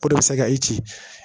O de bɛ se ka i ci